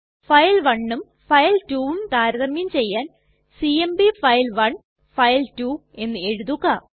file1ഉം file2ഉം താരതമ്യം ചെയ്യാൻ സിഎംപി ഫൈൽ1 ഫൈൽ2 എന്ന് എഴുതുക